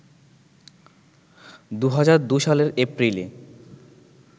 ২০০২ সালের এপ্রিলে